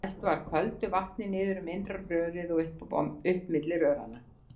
Dælt var köldu vatni niður um innra rörið og upp milli röranna.